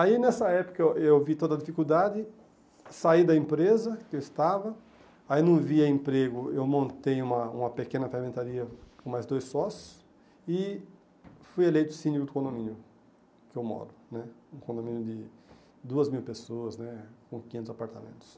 Aí nessa época eu vi toda a dificuldade, saí da empresa que eu estava, aí não via emprego, eu montei uma uma pequena ferramentaria com mais dois sócios e fui eleito síndico do condomínio que eu moro né, um condomínio de duas mil pessoas né com quinhentos apartamentos.